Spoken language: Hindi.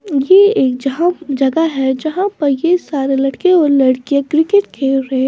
ये एक -- जगह है जहाँ पर ये सारे लड़के और लड़कियां क्रिकेट खेल रहे --